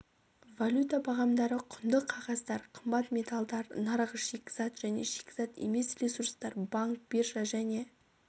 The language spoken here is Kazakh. валюта бағамдары құнды қағаздар қымбат металдар нарығы шикізат және шикізат емес ресурстар банк биржа және